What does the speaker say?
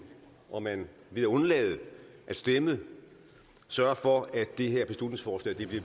og at man ved at undlade at stemme sørger for at det her beslutningsforslag bliver